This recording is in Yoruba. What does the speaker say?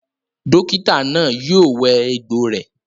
Dókítà náà yio wẹ egbò rẹ